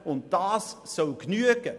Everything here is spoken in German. Und das soll ausreichen?